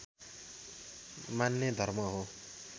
मान्ने धर्म हो